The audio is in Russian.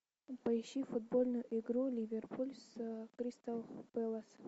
поищи футбольную игру ливерпуль с кристал пэлас